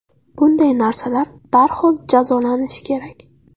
Bunday narsalar darhol jazolanishi kerak.